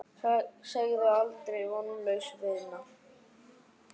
Segðu aldrei: Vonlaus vinna!